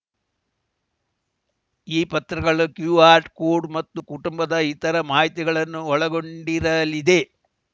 ಈ ಪತ್ರಗಳು QR code ಮತ್ತು ಕುಟುಂಬದ ಇತರ ಮಾಹಿತಿಗಳನ್ನು ಒಳಗೊಂಡಿರಲಿದೆ